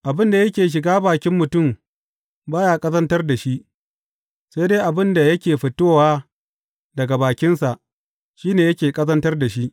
Abin da yake shiga bakin mutum ba ya ƙazantar da shi, sai dai abin da yake fitowa daga bakinsa, shi ne yake ƙazantar da shi.